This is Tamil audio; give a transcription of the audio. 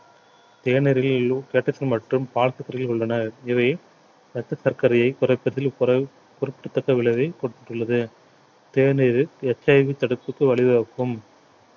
தேநீரில் மற்றும் உள்ளன இவை இரத்த சர்க்கரையை குறைப்பதில் குற~ குறிப்பிடதக்க விளைவை போட்டுள்ளது தேநீரில் HIV தடுப்புக்கு வழி வகுக்கும்